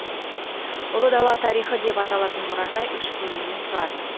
ұлы дала тарихы деп аталатын мұражай үш бөлімнен тұрады